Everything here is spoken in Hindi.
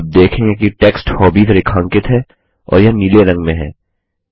आप देखेंगे कि टेक्स्ट हॉबीज रेखांकित है और यह नीले रंग में है